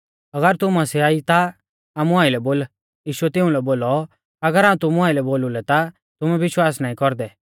अगर तू मसीहा ई ता आमु आइलै बोल यीशुऐ तिउंलै बोलौ अगर हाऊं तुमु आइलै बोलु लै ता तुमै विश्वास नाईं कौरदै